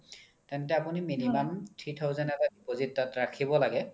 তেন্তে আপোনি minimum three thousand এটা deposit ৰখিব লাগে